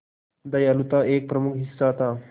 दयालुता एक प्रमुख हिस्सा था